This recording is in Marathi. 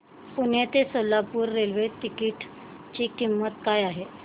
पुणे ते सोलापूर रेल्वे तिकीट ची किंमत काय आहे